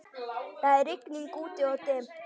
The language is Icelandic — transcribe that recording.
Það er rigning úti-og dimmt.